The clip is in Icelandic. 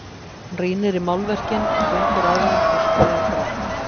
Hún rýnir í málverkin, gengur að þeim og skoðar grannt.